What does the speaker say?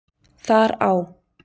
Þar á